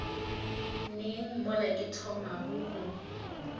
neng mola ke thomago go